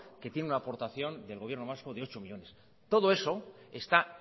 que tiene una aportación del gobierno vasco de nueve millónes todo eso está